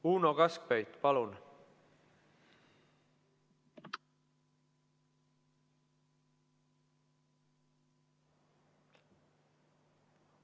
Uno Kaskpeit, palun!